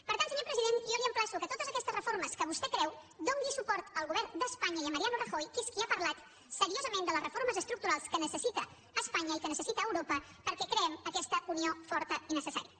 per tant senyor president jo l’emplaço que per totes aquestes reformes que vostè creu doni suport al govern d’espanya i a mariano rajoy que és qui ha parlat seriosament de les reformes estructurals que necessita espanya i que necessita europa perquè creem aquesta unió forta i necessària